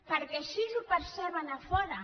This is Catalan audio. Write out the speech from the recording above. perquè així ho perceben a fora